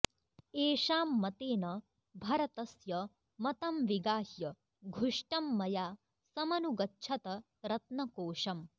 एषां मतेन भरतस्य मतं विगाह्य घुष्टं मया समनुगच्छत रत्नकोशम्